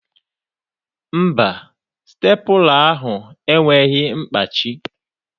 Mba, Stepụla ahụ enweghị mkpachi.